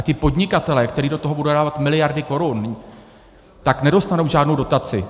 A ti podnikatelé, kteří do toho budou dávat miliardy korun, tak nedostanou žádnou dotaci.